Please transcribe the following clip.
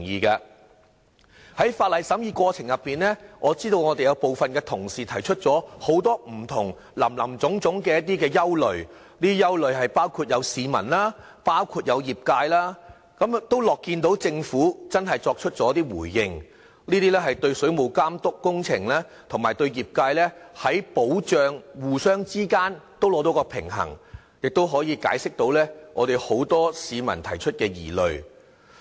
在審議《條例草案》的過程中，我知道我們有部分同事提出林林總總的不同憂慮，包括市民和業界的憂慮，我樂見政府真的作出回應，對水務工程的監督和對業界的保障之間取得平衡，亦可解釋大部分市民提出的疑慮。